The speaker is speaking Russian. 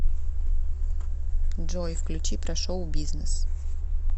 джой включи про шоу бизнес